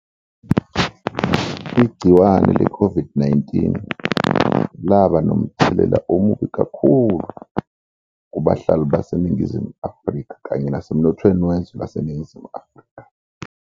Igciwane le Covid-19 laba nomthelela omubi kakhulu kubahlali baseNingizimu Afika kanye nasemnothweni wezwe laseNingizimu Afrika.